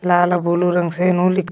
लाल अउर बुलू रंग से ली--